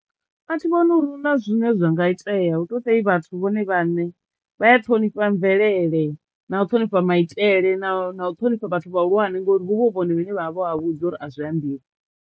A thi vhoni uri huna zwine zwa nga itea hu to ṱai vhathu vhone vhaṋe vha ya ṱhonifha mvelele na u ṱhonifha maitele na u u ṱhonifha vhathu vhahulwane ngori huvha hu vhone vhane vha vha vho vha vhudza uri a zwi ambiwa.